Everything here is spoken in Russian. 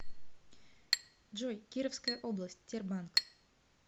джой кировская область тербанк